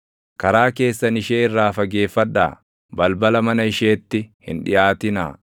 Karaa keessan ishee irraa fageeffadhaa; balbala mana isheetti hin dhiʼaatinaa;